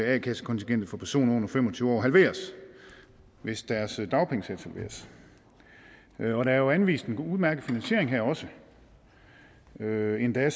at a kassekontingentet for personer under fem og tyve år halveres hvis deres dagpengesats halveres og der er jo anvist en udmærket finansiering her også som endda